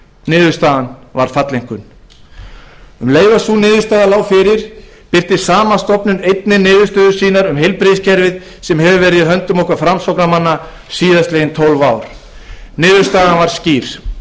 niðurstaðan var falleinkunn um leið og sú niðurstaða lá fyrir birti o e c d einnig niðurstöður sínar um heilbrigðiskerfið sem hefur verið í höndum okkar framsóknarmanna síðastliðin tólf ár niðurstaðan var skýr